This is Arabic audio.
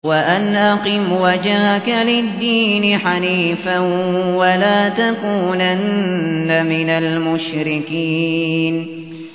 وَأَنْ أَقِمْ وَجْهَكَ لِلدِّينِ حَنِيفًا وَلَا تَكُونَنَّ مِنَ الْمُشْرِكِينَ